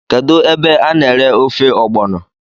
Kedu ebe a na ere ofe ọgbọno?